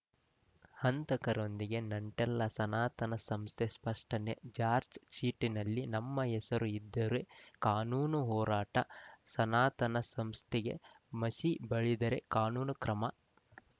ಹಂತಕರೊಂದಿಗೆ ನಂಟಿಲ್ಲ ಸನಾತನ ಸಂಸ್ಥೆ ಸ್ಪಷ್ಟನೆ ಚಾರ್ಜ್ ಶೀಟ್ನಲ್ಲಿ ನಮ್ಮ ಹೆಸರು ಇದ್ದರೆ ಕಾನೂನು ಹೋರಾಟ ಸನಾತನ ಸಂಸ್ಥೆಗೆ ಮಸಿ ಬಳಿದರೆ ಕಾನೂನು ಕ್ರಮ